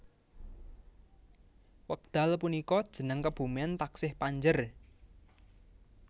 Wekdal punika jeneng kebumen taksih Panjer